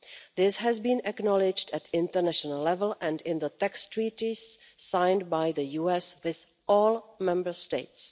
This has been acknowledged at international level and in the tax treaties signed by the US with all Member States.